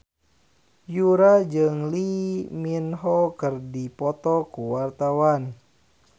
Yura jeung Lee Min Ho keur dipoto ku wartawan